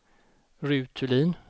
Ruth Thulin